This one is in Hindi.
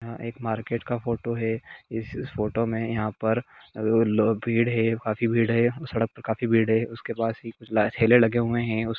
यह एक मार्केट का फोटो है इस फोटो में यहां पर लोग भीड़ है काफी भीड़ है उसके पासा ठेले लगे हुए है।